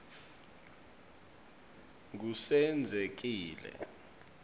ngusenzekile